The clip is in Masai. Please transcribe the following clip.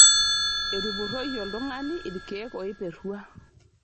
Etupurroyie oltung'ani ilkeek oiperrua.